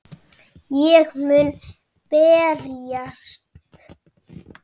Ég mun berjast